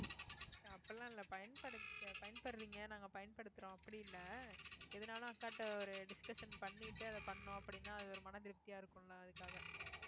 அப்படி எல்லாம் இல்லை பயன்பட~ பயன்படுறீங்க நாங்க பயன்படுத்துறோம் அப்படி இல்லை எதுனாலும் அக்காட்ட ஒரு discussion பண்ணிட்டு அதை பண்ணோம் அப்படின்னா அது ஒரு மனதிருப்தியா இருக்கும்ல அதுக்காக